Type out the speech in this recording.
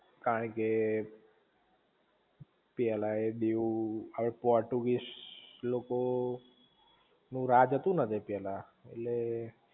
કારણ કે પેલા એ દીવ પોર્ટુગીઝ લોકો નું રાજ હતું ને જે પેલા